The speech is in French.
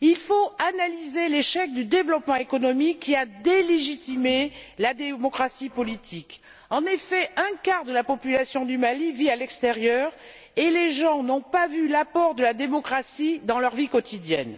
Il faut analyser l'échec du développement économique, qui a délégitimé la démocratie politique. En effet, un quart de la population du Mali vit à l'extérieur et les gens n'ont pas vu l'apport de la démocratie dans leur vie quotidienne.